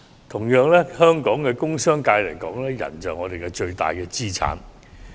同樣地，對香港的工商界而言，人力就是我們的最大資產。